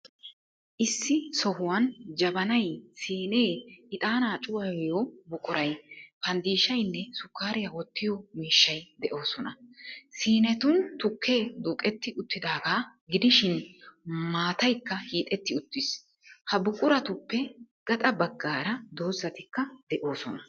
Issi sohuwan jabanay, siinee, ixaanaa cuwayiyo buquray, panddishaynne sukkaariya wottiyo mishshay de'oosona. Siinetun tukkee duuqetti uttidaaga gidishin, maataykka hiixetti uttiis. Ha buquratuppe gaxa baggaara dozatikka de'oosona.